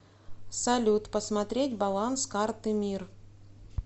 салют посмотреть баланс карты мир